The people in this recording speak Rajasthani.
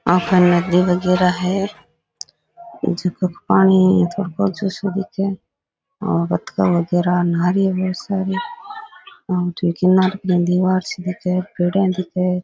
आका नदी में गिरा है जीकाे पानी थोड़ो कोजो सो दिखे है और बतखा वगेरा नहा रही है बहोत सारी और किनारे की दिवार सी दिखे पेड़िया दिखे।